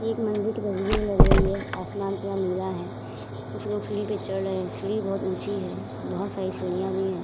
एक मंदिर की तस्बीर लग रही है। आसमान पूरा नीला है। कुछ लोग सीढ़ी पर चढ़ रहे हैं। सीढ़ी बहोत ऊची है। बहोत सारी सीढ़िया भी हैं।